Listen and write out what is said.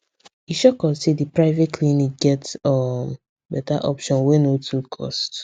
e shock us say the private clinic get um better option wey no too cost